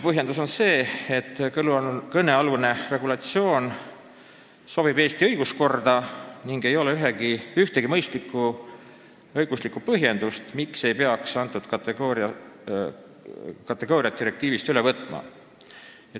Põhjendus on selline, et kõnealune regulatsioon sobib Eesti õiguskorda ning ei ole ühtegi mõistlikku õiguslikku põhjendust, miks ei peaks direktiivi seda kategooriat üle võtma.